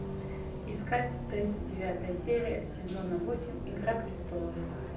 искать тридцать девятая серия сезона восемь игра престолов